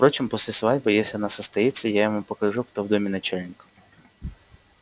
впрочем после свадьбы если она состоится я ему покажу кто в доме начальник